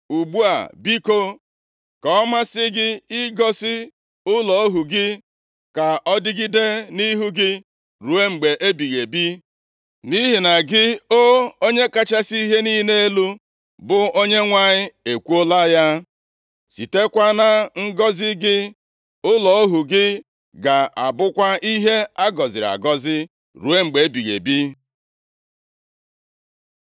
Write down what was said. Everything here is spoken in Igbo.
Ugbu a biko, ka ọ masị gị ịgọzi ụlọ ohu gị, ka ọ dịgide nʼihu gị ruo mgbe ebighị ebi. Nʼihi na gị, o Onye kachasị ihe niile elu, bụ Onyenwe anyị ekwuola ya, sitekwa na ngọzị gị, ụlọ ohu gị ga-abụkwa ihe a gọziri agọzi ruo mgbe ebighị ebi.”